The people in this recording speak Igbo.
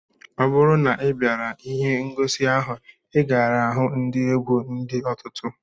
Ọ bụrụ na ị bịara ihe ngosi ahụ, ị gaara ihu ndị egwu dị ọtụtụ